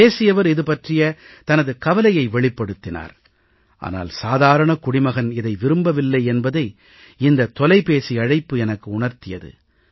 பேசியவர் இது பற்றிய தனது கவலையை வெளிப்படுத்தினார் ஆனால் சாதாரணக் குடிமகன் இதை விரும்பவில்லை என்பதை இந்தத் தொலைபேசி அழைப்பு எனக்கு உணர்த்தியது